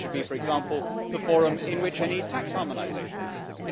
It should be, for example, the forum in which any tax harmonisation happens.